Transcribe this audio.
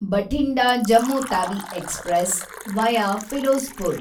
Bathinda Jammu Tawi express, via Firozpur